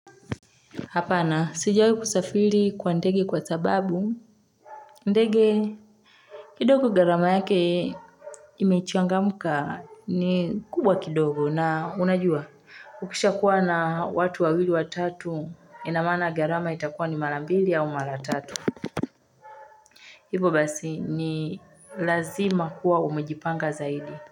Hapana sijawahi kusafiri kwa ndege kwa sababu ndege kidogo gharama yake imechangamka ni kubwa kidogo na unajua ukisha kuwa na watu wawili wa tatu ina maana gharama itakuwa ni mara mbili au mara tatu hivo basi ni lazima kuwa umejipanga zaidi.